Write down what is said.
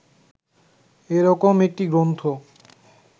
এ রকম একটি গ্রন্থ